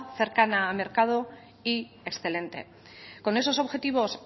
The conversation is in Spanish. cercana al mercado y excelente con esos objetivos